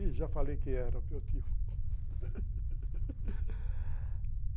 Ih, já falei que era, meu tio